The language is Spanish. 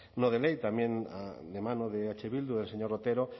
no de ley también de mano de eh bildu del señor otero